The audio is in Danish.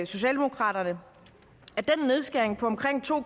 socialdemokraterne at den nedskæring på omkring to